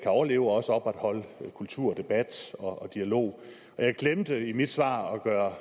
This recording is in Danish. overleve og også opretholde kultur debat og dialog jeg glemte i mit svar at gøre